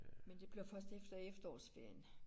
Men det bliver først efter efterårsferien